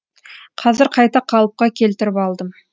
қазір қайта қалыпқа келтіріп алдым